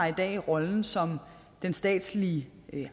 i dag rollen som den statslige